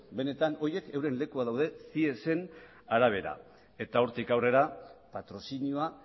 benetan horiek euren lekua dute ciesen arabera eta hortik aurrera patrozinioa